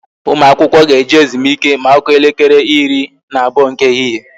Ụmụ akwụkwọ ga-eje ezumike ma ọ kụọ elekere ịrị na abụọ nke ehihie